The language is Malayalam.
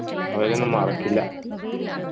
അവരെയൊന്നും മറക്കില്ല